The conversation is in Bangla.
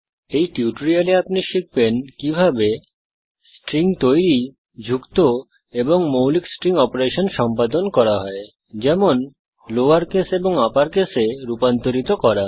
এই টিউটোরিয়ালে আপনি শিখবেন কিভাবে স্ট্রিংস তৈরী যুক্ত এবং মৌলিক স্ট্রিং অপারেশন সম্পাদন করা হয় যেমন লোয়র কেস এবং আপর কেসে রূপান্তরিত করা